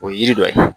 O ye yiri dɔ ye